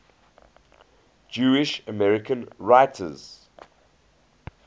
jewish american writers